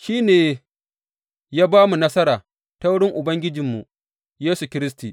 Shi ne ya ba mu nasara ta wurin Ubangijinmu Yesu Kiristi.